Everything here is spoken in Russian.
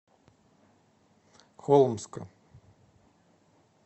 холмска